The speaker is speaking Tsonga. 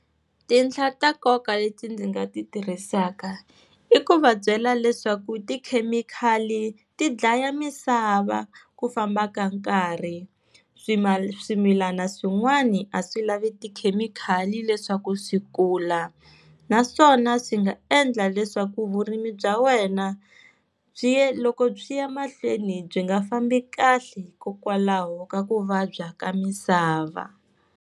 Tinhla ta nkoka leti ndzi nga ti tirhisaka i ku va byela leswaku tikhemikhali ti dlaya misava ku famba ka nkarhi, swimilana swin'wani a swi lavi tikhemikhali leswaku swi kula, naswona swi nga endla leswaku vurimi bya wena byi ya loko byi ya mahlweni byi nga fambi kahle hikokwalaho ka ku vabya ka misava.